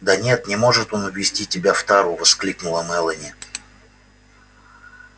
да нет не может он увезти тебя в тару воскликнула мелани